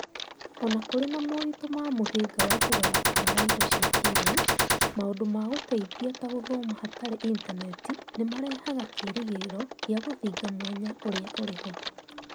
O na kũrĩ na moritũ ma mũhĩnga wa kũgayũkana wa indo cia kĩĩrĩu ,maũndũ ma gũteithia ta gũthoma hatarĩ intaneti nĩmarehaga kĩrĩgĩrĩro gĩa gũthinga mwanya ũrĩa ũrĩ ho